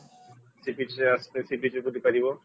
seabeach ଆସିଲେ seabeach ବୁଲିପାରିବ